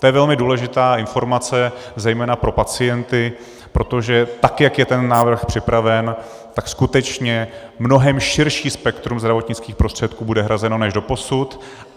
To je velmi důležitá informace zejména pro pacienty, protože tak jak je ten návrh připraven, tak skutečně mnohem širší spektrum zdravotnických prostředků bude hrazeno než doposud.